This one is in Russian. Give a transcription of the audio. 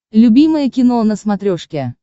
любимое кино на смотрешке